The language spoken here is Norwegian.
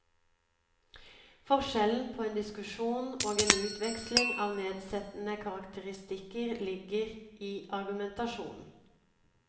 Forskjellen på en diskusjon og en utveksling av nedsettende karakteristikker ligger, i argumentasjonen.